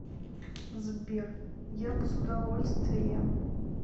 сбер я бы с удовольствием